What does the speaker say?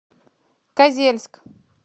козельск